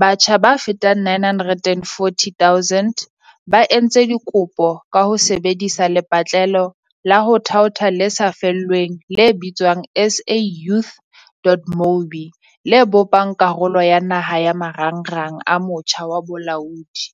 batjha ba fetang 940 000 ba entse dikopo ka ho sebe disa lepatlelo la ho thaotha le sa lefellweng le bitswang SA Youth.mobi, le bopang karolo ya naha ya Marangrang a Motjha wa Bolaodi.